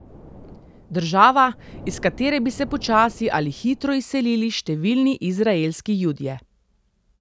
Država, iz katere bi se počasi ali hitro izselili številni izraelski Judje.